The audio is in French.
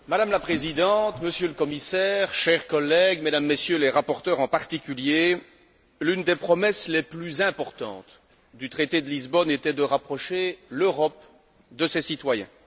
Madame la Présidente, Monsieur le Commissaire, chers collègues, Mesdames, Messieurs les rapporteurs en particulier, l'une des promesses les plus importantes du traité de Lisbonne était de rapprocher l'Europe de ses citoyens.